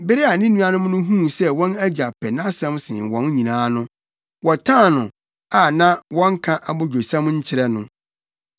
Bere a ne nuanom no huu sɛ wɔn agya pɛ nʼasɛm sen wɔn nyinaa no, wɔtan no a na wɔnka abodwosɛm nkyerɛ no.